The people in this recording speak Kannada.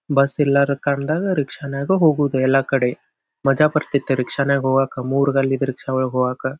ಬಸ್ ಇಲ್ಲಾರ ಕಾಣ್ದಾಗ ರಿಕ್ಷನಾಗ ಹೋಗೋದು ಎಲ್ಲಾ ಕಡೆ ಮಜಾ ಬರ್ತಿತ್ತು ರಿಕ್ಷ ನಾಗ ಹೋಗಾಕ ಮೂರ್ದಲ್ಲಿ ರಿಕ್ಷಗ ಒಳಗ್ ಹೋಗಾಕ.